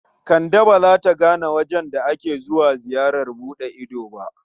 Kande ba za ta gane wajen da ake zuwa ziyarar buɗe ido ba.